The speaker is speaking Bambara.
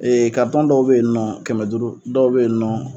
dɔw bɛ yen ni nɔ kɛmɛ duuru dɔw bɛ yen ni nɔ